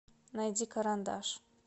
найди карандаш